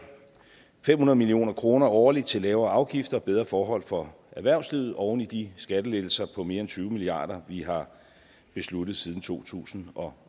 fem hundrede million kroner årligt til lavere afgifter og bedre forhold for erhvervslivet oven i de skattelettelser på mere end tyve milliard kr vi har besluttet siden to tusind og